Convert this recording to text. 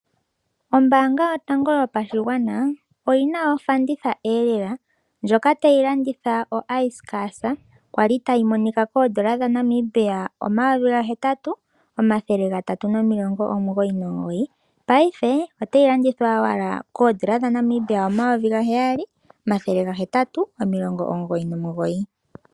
Ombanga yotango yopashigwana oyina ofanditha elela ndjoka tayi landitha oicecasa. Kwali tayi monika koodollar dhaNamibia omayovi gahetatu omathele gatatu nomilongo omugoyi nomugoyi. Paife otayi landithwa owala koodollar dhaNamibia omayovi gaheyali omathele gahetatu omilongo omugoyi nomilongo.